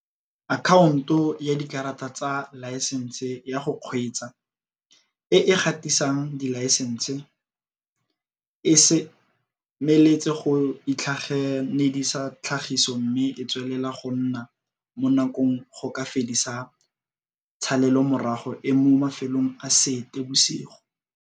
Akhaonto ya Dikarata tsa Laesense ya go Kgweetsa, e e gatisang dilaesense, e semeletse go itlhaganedisa tlhagiso mme e tswelela go nna mo dinakong go ka fedisa tshalelomorago e mo mafelong a Seetebosigo.